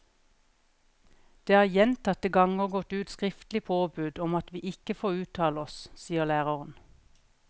Det har gjentatte ganger gått ut skriftlig påbud om at vi ikke får uttale oss, sier læreren.